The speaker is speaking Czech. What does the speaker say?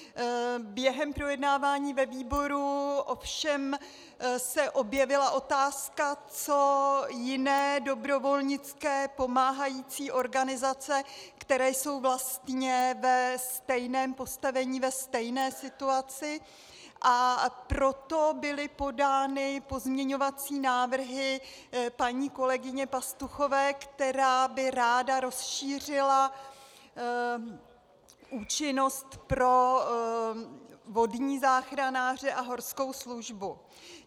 Během projednávání ve výboru ovšem se objevila otázka, co jiné dobrovolnické pomáhající organizace, které jsou vlastně ve stejném postavení, ve stejné situaci, a proto byly podány pozměňovací návrhy paní kolegyně Pastuchové, která by ráda rozšířila účinnost pro vodní záchranáře a horskou službu.